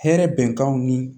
Hɛrɛ bɛnkanw ni